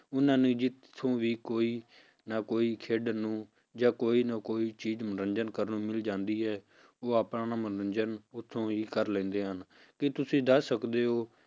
ਉਹਨਾਂ ਨੂੰ ਜਿੱਥੋਂ ਵੀ ਕੋਈ ਨਾ ਕੋਈ ਖੇਡਣ ਨੂੰ ਜਾਂ ਕੋਈ ਨਾ ਕੋਈ ਚੀਜ਼ ਮਨੋਰੰਜਨ ਕਰਨ ਨੂੰ ਮਿਲ ਜਾਂਦੀ ਹੈ ਉਹ ਆਪਣਾ ਮਨੋਰੰਜਨ ਉੱਥੋਂ ਹੀ ਕਰ ਲੈਂਦੇ ਹਨ ਕੀ ਤੁਸੀਂ ਦੱਸ ਸਕਦੇ ਹੋ